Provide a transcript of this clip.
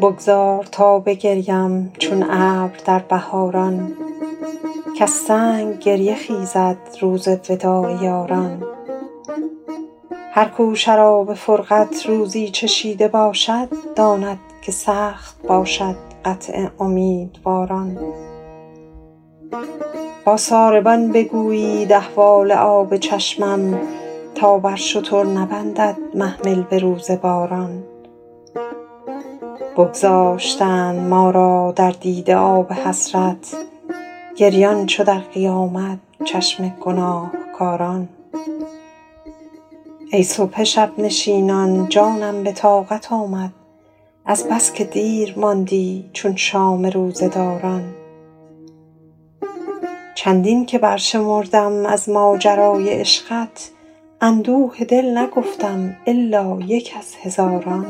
بگذار تا بگرییم چون ابر در بهاران کز سنگ گریه خیزد روز وداع یاران هر کو شراب فرقت روزی چشیده باشد داند که سخت باشد قطع امیدواران با ساربان بگویید احوال آب چشمم تا بر شتر نبندد محمل به روز باران بگذاشتند ما را در دیده آب حسرت گریان چو در قیامت چشم گناهکاران ای صبح شب نشینان جانم به طاقت آمد از بس که دیر ماندی چون شام روزه داران چندین که برشمردم از ماجرای عشقت اندوه دل نگفتم الا یک از هزاران